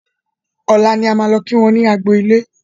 Ọ̀la ni a máa lọ kí wọ́n ní agbo ilé